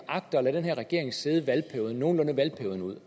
agter at lade den her regering sidde nogenlunde valgperioden ud